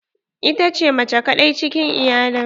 Ita ce mace kadai cikin iyalin.